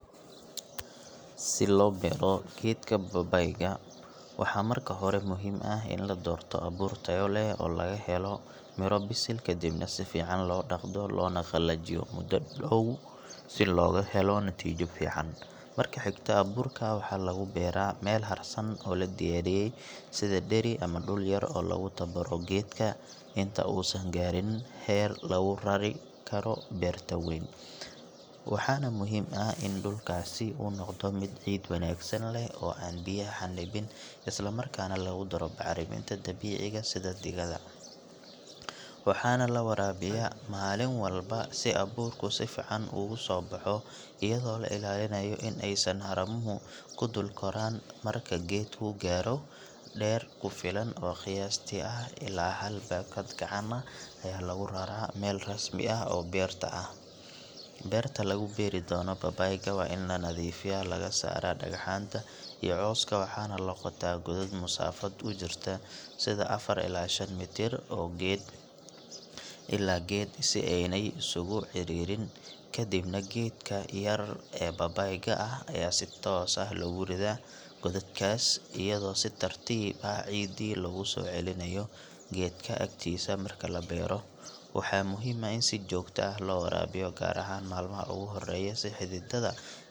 Si loo beero geedka babayda waxaa marka hore muhiim ah in la doorto abuur tayo leh oo laga helo bisil kadib si fican loo daqdo loona qalajiyo si looga helo natiija fican, marka xigta abuurka waxaa lagu beera meel harsan oo la diyaariye, sida deri ama dul yar oo lagu tabaruce geedka inta uu san gaarin heer lagu rari karo gadiidka weyn, waxaana muhiim ah in dulkaasi uu noqdo mid ciid wanagsan leh oo aan biya xanibin isla markaana lagu daro bacraminta dabiiciga sida didada, waxaana lawarabiya malin walba si abuurka si fican ugu soo baxo ayado la ilaalinaayo inaay haramuhu ku kor koraan marka geedka uu gaaro deer kufilan ee lagu raraa meel rasmi ah beerta ah, beerta lagu beeri doono babayda waa in lanadiifiyo laga saara dagaxaanta iyo cooska waxaana laqotaa godod masaafa ujirta sida afar ilaa shan mitir oo geed ila geed si aay san iskuugu cariirin kadibna geedka yar ee babayda ayaa si toos ah lagu dari gododkaas ayado si tartiib ah ciidki lagu soo celinaayo geedka aktiisa marka labeero, waxaa muhiim ah in si joogta ah loo waraabiyo gaar ahaan malmaha ugu uhoreya si xididaha.